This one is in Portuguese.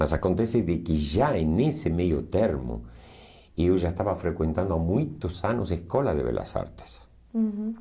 Mas acontece de que já em nesse meio termo eu já estava frequentando há muitos anos a escola de Belas Artes. Uhum